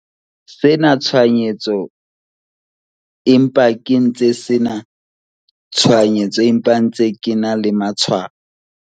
sena tshwaetso empa ke ntse sena tshwaetso empa ke ntse ke ena le matshwao.